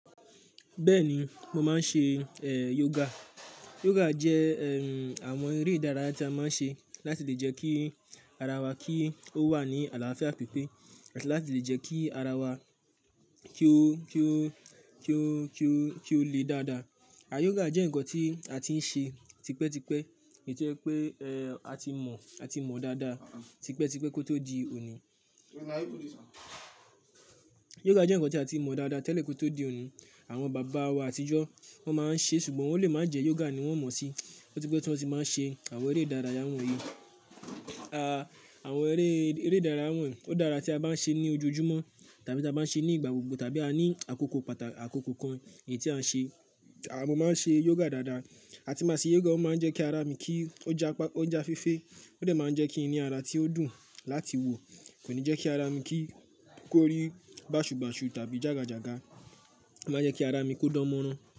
Bẹ́ẹ̀ni, mo máa ń ṣe, eh, yoga. Yoga jẹ, ehn, àwọn eré ìdárayá tí a máa ń ṣe láti lè jẹ́ kí ara wa kí ó wà ní àlàáfíà pípé àti láti lè jẹ́ kí ara wa kí ó, kí ó, kí ó, kí ó, kí ó le dáa dáa. Yògà jẹ́ nǹkan tí a ti ń ṣe tipẹ́tipẹ́, èyí to je pé, eh, a ti mọ̀, a ti mọ̀ dáadáa tipẹ́tipẹ́ kó tó di òní. Yoga jẹ́ nǹkan tí a ti mọ̀ dáadáa tẹ́lẹ̀ kó tó di òní. Àwọn bàbá wa àtijọ́ wọ́n máa ń ṣe ṣùgbọ́n ò lè má jẹ́ yoga ni wọ́n mọ̀ n sí. Ó ti pẹ́ tí wọ́n sì máa ń ṣe àwọn eré ìdárayá wọ̀nyíi. A, àwọn eré, eré ìdárayá wọ̀nyí ó dára tí a bá ń ṣe ní ojojúmọ́ tàbí tí a bá ń ṣe ní ìgbà gbogbo tàbí a ní àkókò pàtà àkókò kan èyí tí à ń ṣe. A mo máa ń ṣe yoga dáadáa. A ti máa ṣe yoga ó máa ń jẹ́ kí ara mi kí ó ja pa, ó ja fefe. Ó dẹ̀ máa ń jẹ́ kí n ní ara tí ó dùn láti wo. Kò ní jẹ́ kí ara mi kí ó rí bàṣù bàṣu tàbí jàgà jàgà. Ó máa ń jẹ́ kí ara mi kó dánmọ́rán.